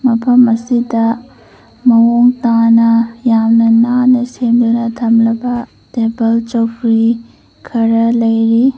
ꯃꯐꯝ ꯑꯁꯤꯗ ꯃꯑꯣꯡ ꯇꯥꯅ ꯌꯥꯝꯅ ꯅꯥꯟꯅ ꯁꯦꯝꯗꯨꯅ ꯊꯝꯂꯒ ꯇꯦꯕꯜ ꯆꯧꯀ꯭ꯔꯤ ꯈꯔ ꯂꯩꯔꯤ꯫